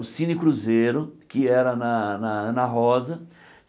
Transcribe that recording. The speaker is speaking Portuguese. O Cine Cruzeiro, que era na na Ana Rosa.